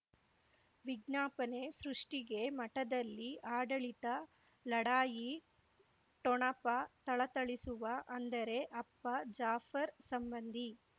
ವಿಜ್ಞಾಪನೆ ಸೃಷ್ಟಿಗೆ ಮಠದಲ್ಲಿ ಆಡಳಿತ ಲಢಾಯಿ ಠೊಣಪ ಥಳಥಳಿಸುವ ಅಂದರೆ ಅಪ್ಪ ಜಾಫರ್ ಸಂಬಂಧಿ